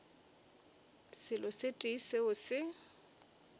selo se tee seo se